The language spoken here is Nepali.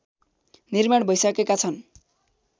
निर्माण भैसकेका छन्